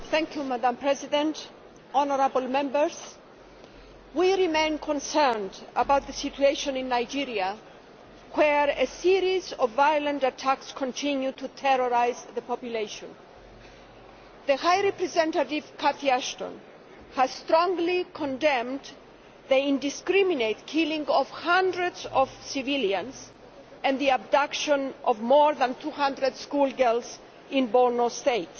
Madam President, honourable Members, we remain concerned about the situation in Nigeria, where a series of violent attacks continue to terrorise the population. The High Representative, Cathy Ashton, has strongly condemned the indiscriminate killing of hundreds of civilians and the abduction of more than 200 schoolgirls in Borno state.